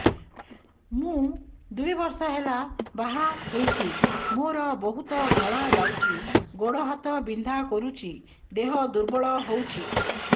ମୁ ଦୁଇ ବର୍ଷ ହେଲା ବାହା ହେଇଛି ମୋର ବହୁତ ଧଳା ଯାଉଛି ଗୋଡ଼ ହାତ ବିନ୍ଧା କରୁଛି ଦେହ ଦୁର୍ବଳ ହଉଛି